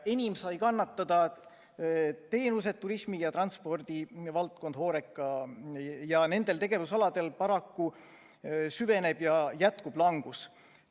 Enim on kannatada saanud teenuste, turismi ja transpordi valdkond – HoReCa – ja nendel tegevusaladel paraku süveneb ja jätkub langus.